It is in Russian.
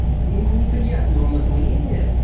и неприятно вам это мнение